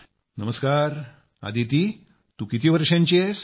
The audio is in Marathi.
नमस्कार अदिती तू किती वर्षांची आहेस